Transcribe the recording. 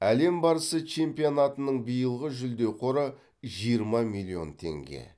әлем барысы чемпионатының биылғы жүлде қоры жиырма миллион теңге